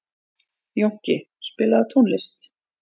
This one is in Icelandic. Jónki, spilaðu tónlist.